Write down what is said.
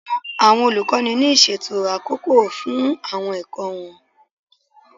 Àwọn olùkọ́ ní ìṣètò àkókò fún àwọn ẹ̀kọ́ wọn.